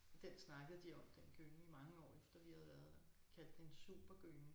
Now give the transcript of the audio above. Og den snakkede de om den gynge i mange år efter vi havde været der og kaldte den en supergynge